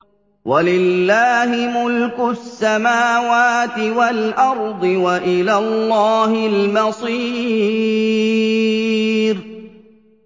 وَلِلَّهِ مُلْكُ السَّمَاوَاتِ وَالْأَرْضِ ۖ وَإِلَى اللَّهِ الْمَصِيرُ